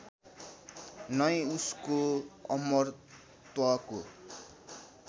नै उसको अमरत्वको